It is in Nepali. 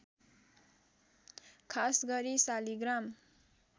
खास गरी शालिग्राम